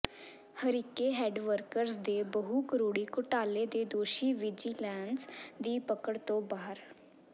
Harike head works ਦੇ ਬਹੁ ਕਰੋੜੀ ਘੋਟਾਲੇ ਦੇ ਦੋਸ਼ੀ ਵਿਜੀਲੈਂਸ ਦੀ ਪਕੜ ਤੋਂ ਬਾਹਰ